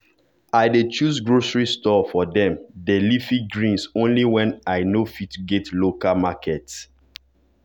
i dey choose grocery store for dem dey leafy greens only when i no fit go local market.